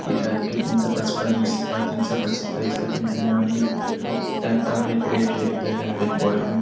ई side का तीन सौ पचपन उसका तीन सौ पचहत्तर इसका तीन सौ निन्‍यानवे हर एक टाईप का हर एक रेट लिख दिया गया है हर एक बोरा में।